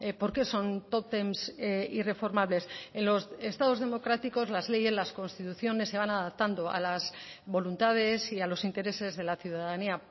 por qué son tótems irreformables en los estados democráticos las leyes las constituciones se van adaptando a las voluntades y a los intereses de la ciudadanía